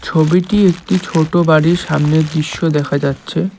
ছবিটি একটি ছোট বাড়ির সামনের দৃশ্য দেখা যাচ্ছে।